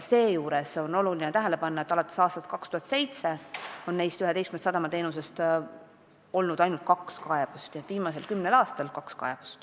Oluline on tähele panna, et neist 11-st on ainult kaks kaebust esitatud viimasel kümnel aastal.